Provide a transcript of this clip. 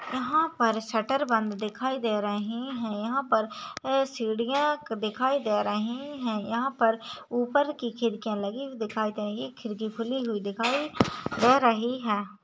यहा पार शटर बंद दिखाई दे रही है यहा पर सिडिया दिखाई दे रही है यहा पर ऊपर की खिड़कियां लगी हुई दिखाई दे रही है खिड़की खुली हुई दिखाई दे रही है।